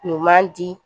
Ɲuman di